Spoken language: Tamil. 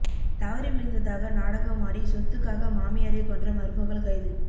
தவறி விழுந்ததாக நாடகம் ஆடி சொத்துக்காக மாமியாரை கொன்ற மருமகள் கைது